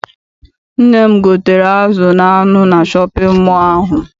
Nne m gotere azụ na anụ na shọpịn mọọ ahụ.